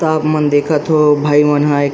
तापमन देखत थे भाई मन ह।